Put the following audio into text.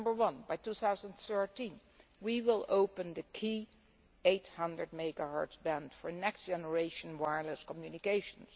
First, by 2013, we will open the key 800 MHz band for next generation wireless communications.